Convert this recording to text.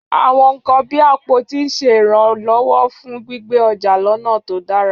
Àwọn nkan bíi àpótí ń ṣe ìrànlọ́wọ́ fún gbígbé ọjà lọ́nà tó dára.